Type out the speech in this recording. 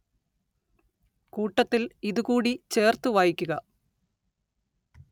കൂട്ടത്തില്‍ ഇതു കൂടി ചേര്‍ത്തു വായിക്കുക